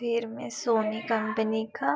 वीर में Sony company का --